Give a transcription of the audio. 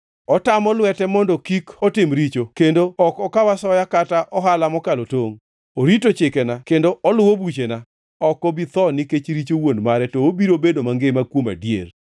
Otamo lwete mondo kik otim richo kendo ok okaw asoya kata ohala mokalo tongʼ. Orito chikena kendo oluwo buchena. Ok obi tho nikech richo wuon mare to obiro bedo mangima kuom adier.